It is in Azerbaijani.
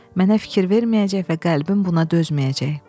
Mənə fikir verməyəcək və qəlbim buna dözməyəcək.